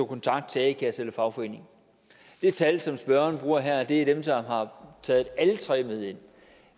kontakt til a kassen eller fagforeningen det tal som spørgeren bruger her dækker dem der har taget alle tre med ind